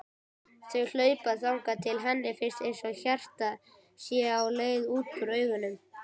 Þau hlaupa þangað til henni finnst einsog hjartað sé á leið út úr augunum.